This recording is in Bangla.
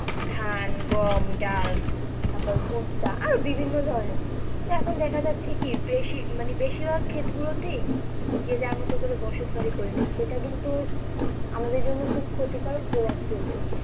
ধান, গম, ডাল তারপর ভুট্টা বিভিন্ন ধরণের, তো এখন দেখা যাচ্ছে কি বেশি মানে বেশিরভাগ ক্ষেত গুলোতে যে যার মতো করে বসত বাড়ি করে নিচ্ছে, এটা কিন্তু আমাদের জন্য খুব ক্ষতিকারক প্রভাব ফেলছে।